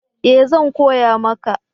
Ee! zan koya maka